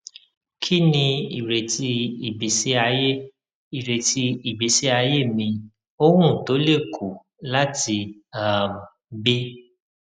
kini ireti igbesi aye ireti igbesi aye mi owun to le ku lati um gbe